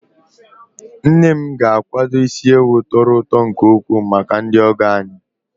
Nne m ga-akwado isi ewu tọrọ ụtọ nke ukwuu maka ndị ọgọ anyị.